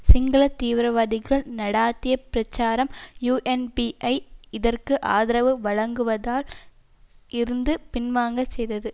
சிங்கள தீவிரவாதிகள் நடாத்திய பிரச்சாரம் யூஎன்பியை இதற்கு ஆதரவு வழங்குவதால் இருந்து பின்வாங்க செய்தது